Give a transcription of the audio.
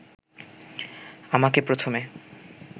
আমাকে প্রথমে